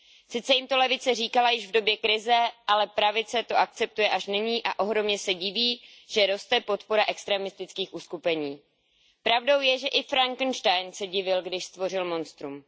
Sice jim to levice říkala už v době krize, ale pravice to akceptuje až nyní a ohromně se diví, že roste podpora extrémistických uskupení. Pravdou je, že i Frankenstein se divil, když stvořil monstrum.